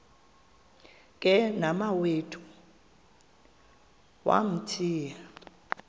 ke nomawethu wamthiya